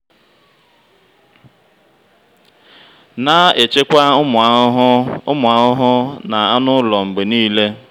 na-echekwa ụmụ ahụhụ ụmụ ahụhụ na anụ ụlọ mgbe niile.